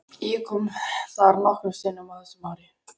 Ég kom þar nokkrum sinnum á þessum árum.